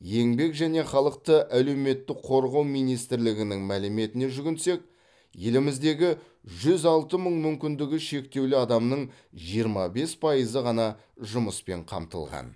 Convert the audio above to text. еңбек және халықты әлеуметтік қорғау министрлігінің мәліметіне жүгінсек еліміздегі жүз алты мың мүмкіндігі шектеулі адамның жиырма бес пайызы ғана жұмыспен қамтылған